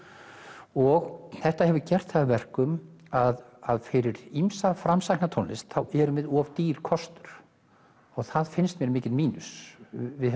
og þetta hefur gert það að verkum að fyrir ýmsa framsækna tónlist þá erum við of dýr kostur og það finnst mér mikill mínus við